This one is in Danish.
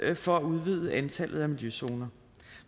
for at udvide antallet af miljøzoner